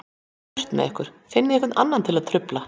Burtu með ykkur, finnið einhvern annan til að trufla.